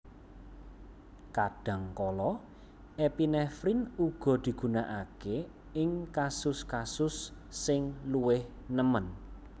Kadhangkala epinefrin uga digunakake ing kasus kasus sing luwih nemen